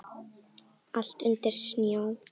Allt undir snjó.